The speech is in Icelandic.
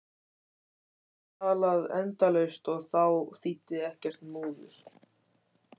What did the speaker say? Hann gat talað endalaust og þá þýddi ekkert múður.